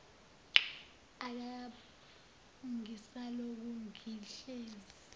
akakabuyi ngisalokhu ngihlezi